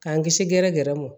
K'an kisi gɛrɛgɛrɛ mɔ